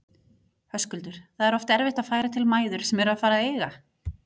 Höskuldur: Það er oft erfitt að færa til mæður sem eru að fara að eiga?